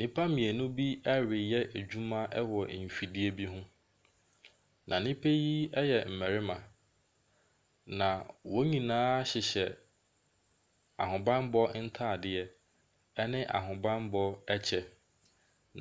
Nnipa mmienu bi reyɛ adwuma wɔ mfidie bi ho. Na nnipa yi yɛ mmarima, na wɔn nyinaa hyehyɛ ahobanmmɔ ataadeɛ ne ahobanmmɔ ɛkyɛ.